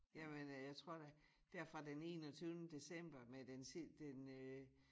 Jamen øh jeg tror da dér fra den enogtyvende december med den den øh